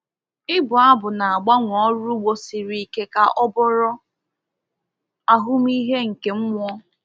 Ịbụ abụ na-agbanwe ọrụ ugbo siri ike ka ọ bụrụ ahụmịhe nke mmụọ.